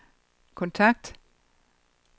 kontakt